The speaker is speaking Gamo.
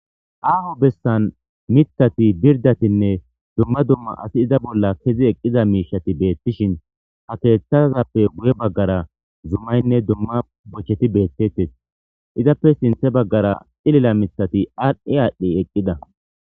aaho bessan mitati birdatinne dumma dumma asi iza bolla kezi eqqiza miishati beettishin ha keeththazappe guye baggara zumaynne dumma bocheti beethtettes izappe sinthe baggara xilila mithati adhi adhdi eqqida